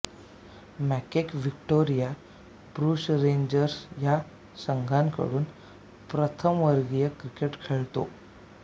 McKay Victoria Bushrangers या संघाकडून प्रथमवर्गीय क्रिकेट खेळतो